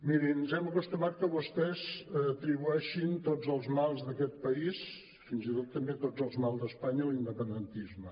mirin ens hem acostumat que vostès atribueixin tots els mals d’aquest país fins i tot també tots els mals d’espanya a l’independentisme